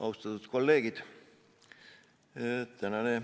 Austatud kolleegid!